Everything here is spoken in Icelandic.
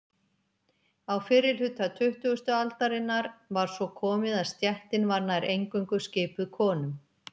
Á fyrri hluta tuttugustu aldarinnar var svo komið að stéttin var nær eingöngu skipuð konum.